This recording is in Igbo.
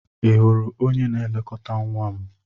Ị hụrụ onye na-elekọta nwa m?